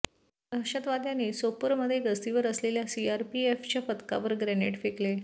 दहशतवाद्यांनी सोपोरमध्ये गस्तीवर असलेल्या सीआरपीएफच्या पथकावर ग्रेनेड फेकले